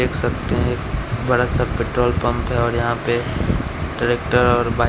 देख सकते हैं बड़ा सा पेट्रोल पंप है और यहां पे ट्रैक्टर और बाइक--